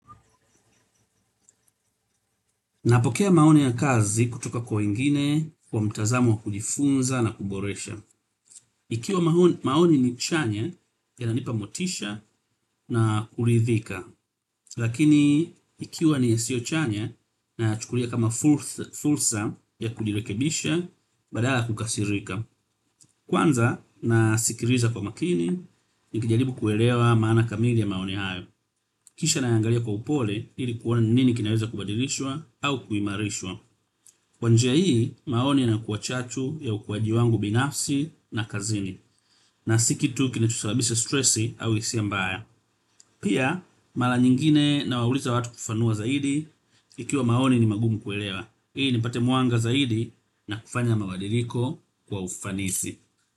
Napokea maoni ya kazi kutoka kwa wengine kwa mtazamo wa kujifunza na kuboresha. Ikiwa maoni ni chanya yananipa motisha na kuridhika. Lakini ikiwa ni yasio chanya naya chukulia kama fursa ya kujirekebisha badala ya kukasirika. Kwanza nasikiliza kwa makini ni kijaribu kuelewa maana kamili ya maoni hayo. Kisha naya angalia kwa upole ili kuona ni nini kinaweza kubadilishwa au kuimarishwa. Kwa njia hii, maoni yanakua chachu ya ukuaji wangu binafsi na kazini na si kitu kinacho sababisha stresi au hisia mbaya. Pia, mala nyingine na wauliza watu kufafanua zaidi. Ikiwa maoni ni magumu kuelewa, ili ni pate mwanga zaidi na kufanya mabadiliko kwa ufanisi.